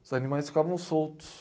Os animais ficavam soltos.